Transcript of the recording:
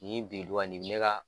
Nin biduga nin bi ne ka